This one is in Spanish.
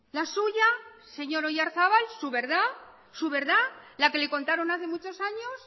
la suya señor oyarzabal su verdad su verdad la que le contaron hace muchos años